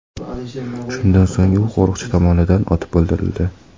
Shundan so‘ng u qo‘riqchi tomonidan otib o‘ldirildi.